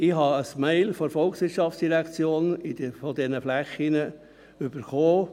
– Ich habe ein Mail von der VOL zu diesen Flächen erhalten.